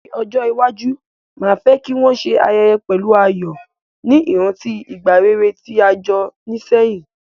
Ní ojó iwaju, ma fe ki won se ayẹyẹ pẹ̀lu ayò, ni ìrántí ìgbà rere ti a jo ni sehín